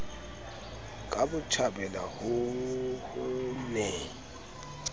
ka botjhabela ho ho ne